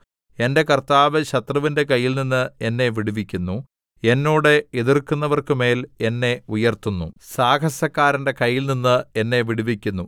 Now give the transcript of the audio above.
എന്റെ കർത്താവ് ശത്രുവിന്റെ കയ്യിൽനിന്ന് എന്നെ വിടുവിക്കുന്നു എന്നോട് എതിർക്കുന്നവർക്കുമേൽ എന്നെ ഉയർത്തുന്നു സാഹസക്കാരന്റെ കയ്യിൽനിന്ന് എന്നെ വിടുവിക്കുന്നു